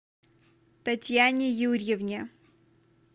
татьяне юрьевне